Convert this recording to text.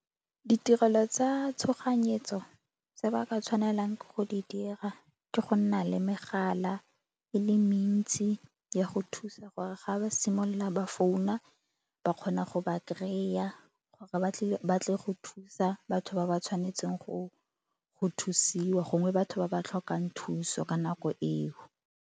Ditirelo tsa tshoganyetso se ba ka tshwanelang ke go di dira ke go nna le megala e le mentsi ya go thusa gore ga ba simolola ba founa ba kgone go ba kry-a gore ba tle go thusa batho ba ba tshwanetseng go thusiwa gongwe batho ba ba tlhokang thuso ka nako eo.